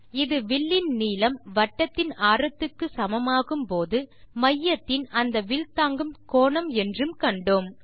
இது வில்லின் நீளம் வட்டத்தின் ஆரத்துக்கு சமமாகும் போது மையத்தின் அந்த வில் தாங்கும் கோணம் என்றும் கண்டோம்